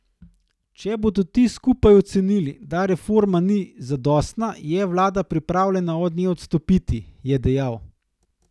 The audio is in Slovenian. Če bodo ti skupaj ocenili, da reforma ni zadostna, je vlada pripravljena od nje odstopiti, je dejal.